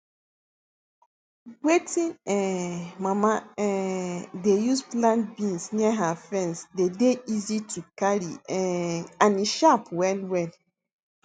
wetin um mama um dey use plant beans near her fence dey dey easy to carry um and e sharp well well